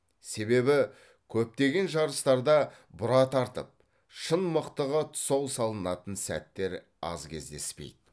себебі көптеген жарыстарда бұра тартып шын мықтыға тұсау салынатын сәттер аз кездеспейді